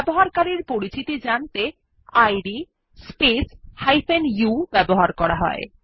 ব্যবহারকারীর পরিচিতি জানতে ইদ স্পেস u ব্যবহার করা হয়